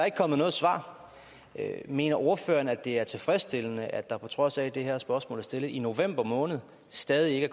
ikke kommet noget svar mener ordføreren det er tilfredsstillende at der på trods af at det her spørgsmål blev stillet i november måned stadig